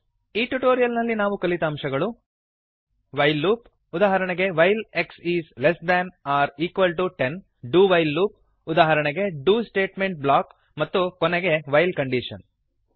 ಈ ಟ್ಯುಟೋರಿಯಲ್ ನಲ್ಲಿ ನಾವು ಕಲಿತ ಅಂಶಗಳು ವೈಲ್ ಲೂಪ್ ಉದಾಹರಣೆಗೆ160 while x is less than or equal to ten do while loop ಉದಾಹರಣೆಗೆ ಡು ಸ್ಟೇಟ್ಮೆಂಟ್ ಬ್ಲಾಕ್ ಮತ್ತು ಕೊನೆಗೆ ವೈಲ್ ಕಂಡೀಶನ್